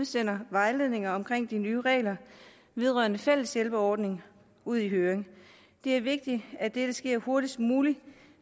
sender vejledninger omkring de nye regler vedrørende fælles hjælpeordning ud i høring det er vigtigt at dette sker hurtigst muligt